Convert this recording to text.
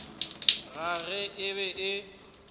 ka ge e be e